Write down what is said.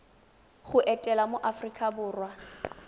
go etela mo aforika borwa